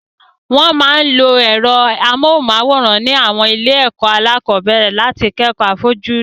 Wọ́n máa ń lo ẹ̀rọ amóhùnmáwòrán ní àwọn ilé-ẹ̀kọ́ alákọ̀ọ́bẹ̀rẹ̀ láti kẹ́kọ̀ọ́ àfojúrí.